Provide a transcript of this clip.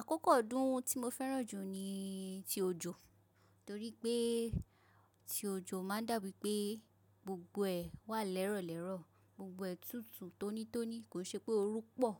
Àkókò ọdún tí mo fẹ́ràn jù ni ti òjò torí pé ti òjò ma ń dà bí i pé gbogbo ẹ̀ wà lẹ́rọ̀lẹ́rọ̀, gbogbo ẹ̀ tùtù tónítóní. Kò i ṣe pé oru pọ̀,